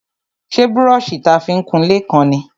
Ṣé brọ́ṣì ta fi ń kunlé kán ni?